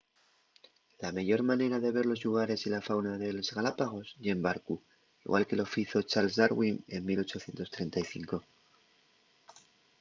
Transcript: la meyor manera de ver los llugares y la fauna de les galápagos ye en barcu igual que lo fizo charles darwin en 1835